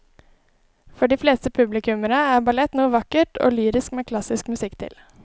For de fleste publikummere er ballett noe vakkert og lyrisk med klassisk musikk til.